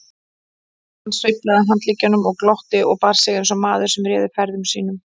Hann sveiflaði handleggjunum og glotti og bar sig eins og maður sem réði ferðum sínum.